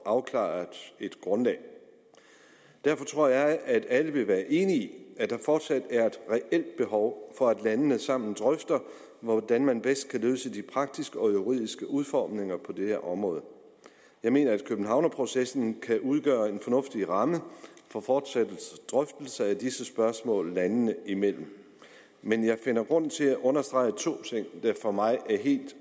afklaret et grundlag derfor tror jeg at alle vil være enige at der fortsat er et reelt behov for at landene sammen drøfter hvordan man bedst kan løse de praktiske og juridiske udfordringer på det her område jeg mener at københavnerprocessen kan udgøre en fornuftig ramme for fortsatte drøftelser af disse spørgsmål landene imellem men jeg finder grund til at understrege to ting der for mig er helt